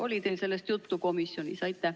Oli teil sellest juttu komisjonis?